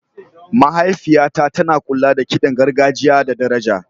Mahaifiyata tana kula da kiɗan gargajiya da daraja.